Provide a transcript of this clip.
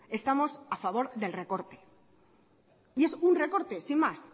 estamos a favor del recorte y es un recorte sin más